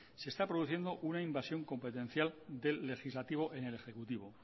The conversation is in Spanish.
se está produciendo una invasión competencial del legislativo en el ejecutivo